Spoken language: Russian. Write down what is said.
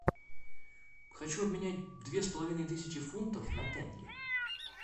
хочу обменять две с половиной тысячи фунтов на тенге